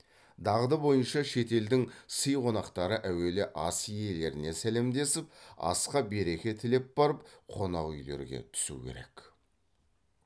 дағды бойынша шет елдің сый қонақтары әуелі ас иелеріне сәлемдесіп асқа береке тілеп барып қонақ үйлерге түсу керек